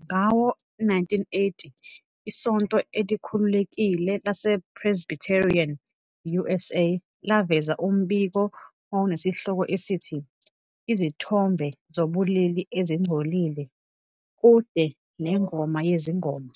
Ngawo-1980, iSonto Elikhululekile lasePresbyterian, USA, laveza umbiko owawunesihloko esithi, "Izithombe Zobulili Ezingcolile- Kude neNgoma Yezingoma",